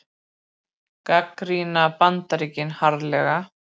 Gagnrýna Bandaríkin harðlega